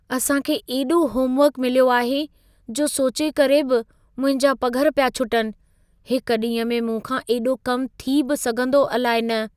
असां खे एॾो होमवर्कु मिलियो आहे, जो सोचे करे बि मुंहिंजा पघर पिया छुटनि। हिक ॾींह में मूं खां एॾो कमु थी बि सघंदो अलाइ न।